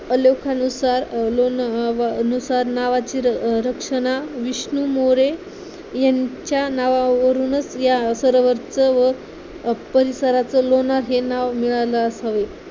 अलोखानुसार लोण नुसार नावाची रचना विष्णू मोरे यांच्या नावावरूनच या सरोवर च परिसराचं नावलोणा हे नाव मिळाल असावे